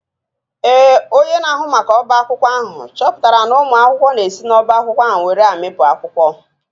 Ee, onye na-ahụ maka ọbá akwụkwọ ahụ chọpụtara na ụmụ akwụkwọ na-esi n’ọ́bá akwụkwọ were amịpụ akwụkwọ